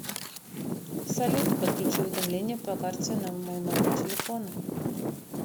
салют подключи уведомления по карте на мой номер телефона